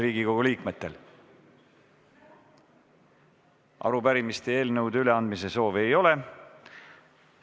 Riigikogu liikmetel arupärimiste ja eelnõude üleandmise soovi ei ole.